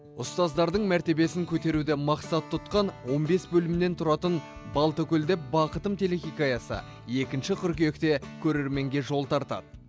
ұстаздардың мәртебесін көтеруді мақсат тұтқан он бес бөлімнен тұратын балтакөлде бақытым телехикаясы екінші қыркүйекте көрерменге жол тартады